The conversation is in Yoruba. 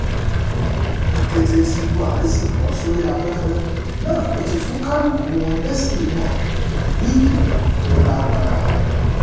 ní kété tí buhari sì bọ́ sórí afẹ́fẹ́ náà ló ti fún kálukú wọn lésì wọn pẹ̀lú ìkìlọ̀ tó lágbára